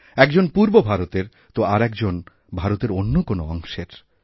একজন পূর্ব ভারতের তো আর একজন ভারতের অন্য কোনঅংশের